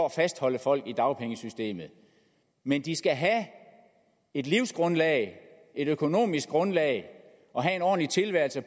at fastholde folk i dagpengesystemet men de skal have et livsgrundlag et økonomisk grundlag og have en ordentlig tilværelse